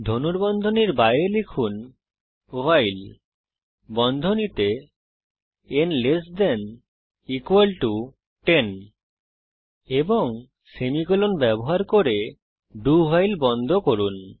ধনুর্বন্ধনীর বাইরে লিখুন ভাইল বন্ধনীতে n less than equal to 10 এবং সেমিকোলন ব্যবহার করে do ভাইল বন্ধ করুন